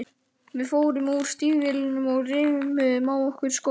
Við fórum úr stígvélunum og reimuðum á okkur skóna.